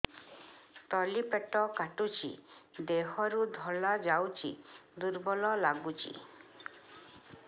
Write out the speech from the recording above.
ତଳି ପେଟ କାଟୁଚି ଦେହରୁ ଧଳା ଯାଉଛି ଦୁର୍ବଳ ଲାଗୁଛି